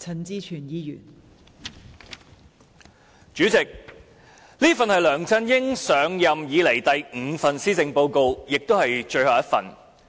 代理主席，這一份是梁振英上任以來第五份施政報告，亦是最後的一份。